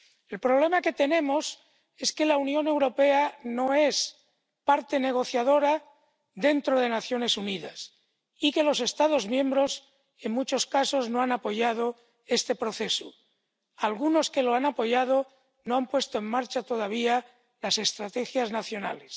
El problema que tenemos es que la Unión Europea no es parte negociadora dentro de las Naciones Unidas y que los Estados miembros, en muchos casos, no han apoyado este proceso. Algunos que lo han apoyado no han puesto en marcha todavía las estrategias nacionales.